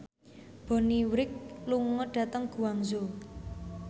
Bonnie Wright lunga dhateng Guangzhou